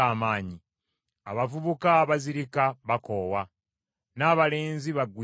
Abavubuka bazirika, bakoowa, n’abalenzi bagwira ddala.